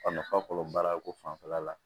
A nafa fɔlɔ baara ko fanfɛla la